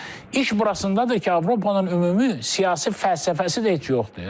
İş burasındadır ki, Avropanın ümumi siyasi fəlsəfəsi də heç yoxdur.